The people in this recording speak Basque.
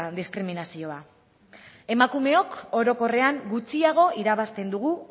diskriminazioa emakumeok orokorrean gutxiago irabazten dugu